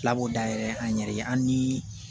Filab'o dayɛlɛ an yɛrɛ ye an ni